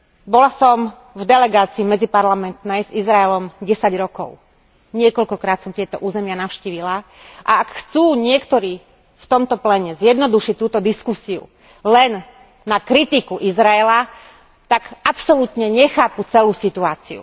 Bola som v medziparlamentnej delegácii s Izraelom 10 rokov, niekoľkokrát som tieto územia navštívila, a ak chcú niektorí v tomto pléne zjednodušiť túto diskusiu len na kritiku Izraela, tak absolútne nechápu celú situáciu.